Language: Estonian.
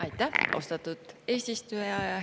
Aitäh, austatud eesistuja!